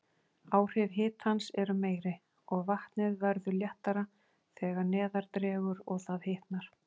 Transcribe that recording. Áhrif hitans eru meiri, og vatnið verður léttara þegar neðar dregur og það hitnar.